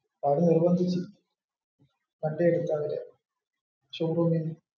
അവര് നിർബന്ധിച്ചു വണ്ടി എടുക്കാൻ നേരത്തു showroomil നിന്ന്.